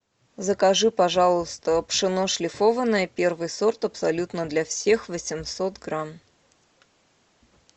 закажи пожалуйста пшено шлифованное первый сорт абсолютно для всех восемьсот грамм